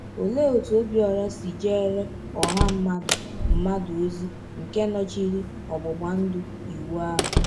Olee otú Ọbiọra si jeere ọha mmadụ mmadụ ozi nke nọchiri ọgbụgba ndụ Iwu ahụ?